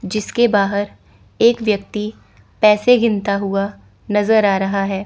जिसके बाहर एक व्यक्ति पैसे गिनता हुआ नज़र आ रहा है।